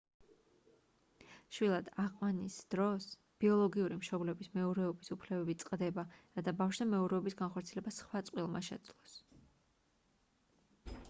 შვილად აყვანის დროს ბიოლოგიური მშობლების მეურვეობის უფლებები წყდება რათა ბავშვზე მეურვეობის განხორციელება სხვა წყვილმა შეძლოს